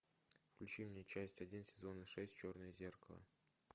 включи мне часть один сезона шесть черное зеркало